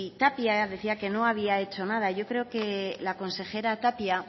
tapia decía que no había hecho nada yo creo que la consejera tapia